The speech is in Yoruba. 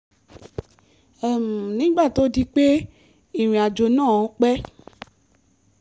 nígbà tó di pé ìrìn-àjò náà pẹ́